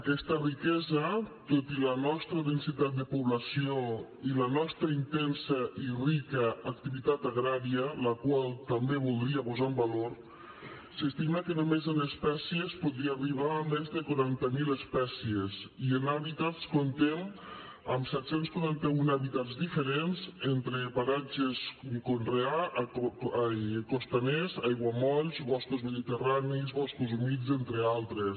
aquesta riquesa tot i la nostra densitat de població i la nostra intensa i rica activitat agrària la qual també voldria posar en valor s’estima que només en espècies podria arribar a més de quaranta mil espècies i en hàbitats comptem amb set cents i quaranta un hàbitats diferents entre paratges costaners aiguamolls boscos mediterranis boscos humits entre altres